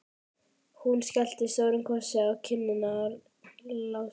Hún skellti stórum kossi á kinnina á Lása.